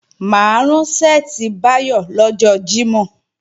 Mà á rán ṣẹ́ẹ̀tì Báyọ̀ lọ́jọ́ Jímọ̀